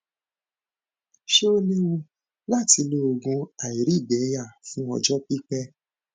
ṣé ó léwu láti lo oògùn àìrígbẹyà fún ọjọ pipẹ